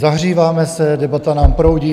Zahříváme se, debata nám proudí.